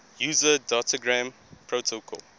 user datagram protocol